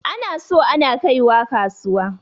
Ana so ana kaiwa kasuwa.